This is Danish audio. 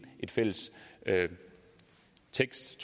en fælles tekst